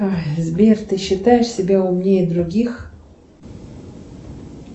сбер ты считаешь себя умнее других